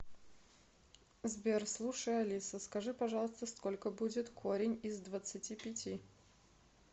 сбер слушай алиса скажи пожалуйста сколько будет корень из двадцати пяти